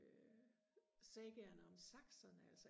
øh sagaerne om Saxon altså